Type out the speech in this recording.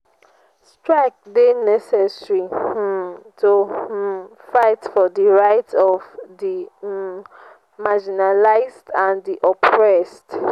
strike dey necessary um to um fight for di rights of di um marginalized and di oppressed.